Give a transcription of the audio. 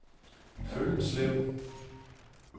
Føllenslev